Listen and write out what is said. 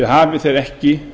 hafi þeir ekki